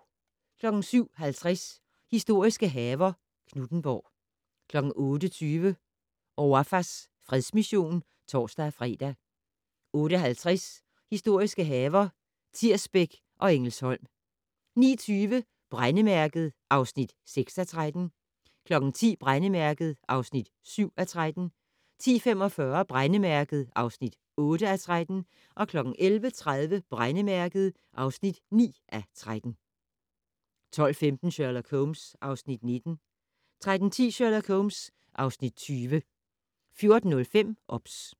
07:50: Historiske haver - Knuthenborg 08:20: Ouafas fredsmission (tor-fre) 08:50: Historiske haver - Tirsbæk og Engelsholm 09:20: Brændemærket (6:13) 10:00: Brændemærket (7:13) 10:45: Brændemærket (8:13) 11:30: Brændemærket (9:13) 12:15: Sherlock Holmes (Afs. 19) 13:10: Sherlock Holmes (Afs. 20) 14:05: OBS